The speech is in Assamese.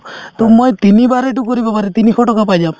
to মই তিনিবাৰে এইটো কৰিব পাৰি তিনিশ টকা পাই যাম